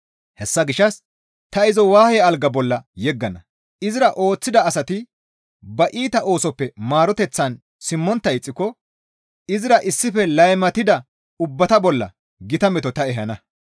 Hessa gishshas ta izo waaye alga bolla yeggana; izira ooththida asati ba iita oosoppe maaroteththan simmontta ixxiko izira issife laymatida ubbata bolla gita meto ta ehana.